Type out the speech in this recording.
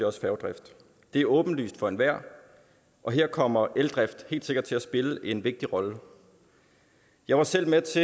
også færgedrift det er åbenlyst for enhver og her kommer eldrift helt sikkert til at spille en vigtig rolle jeg var selv med